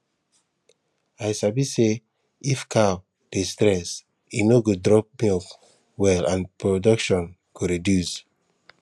i sabi say if cow dey stress e no go drop milk well and production go reduce